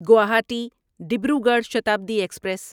Guwahati Dibrugarh Shatabdi express